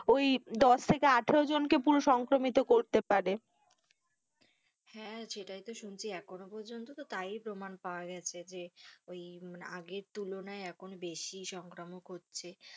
ওই দশ থেকে আঠারো জনকে পুরো সংক্রমিত করতে পারে। হ্যাঁ, সেটাই তো শুনছি এখন পর্যন্ত তো তাই প্রমান পাওয়া গেছে যে ওই আগের তুলনায় এখন বেশি সংক্রমক হচ্ছে,